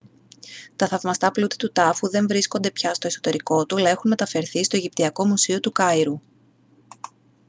τα θαυμαστά πλούτη του τάφου δεν βρίσκονται πια στο εσωτερικό του αλλά έχουν μεταφερθεί στο αιγυπτιακό μουσείο του καΐρου